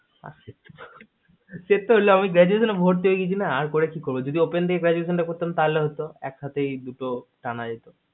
সে তো হলো আমি graduation তো এ ভর্তি হয়ে গেছি আর করে কি করবো যদি open দিয়ে graduation তা করতাম তাহলে একসঙ্গে দুটো টানা যেত